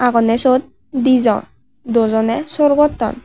agonne siyot dijon duojone sor gotton.